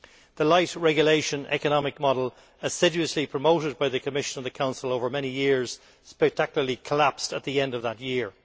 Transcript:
The light regulation' economic model, assiduously promoted by the Commission and the Council over many years, spectacularly collapsed at the end of that year.